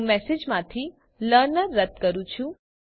હું મેસેજમાંથી લર્નર રદ કરું છું